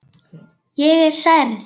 Ég er særð.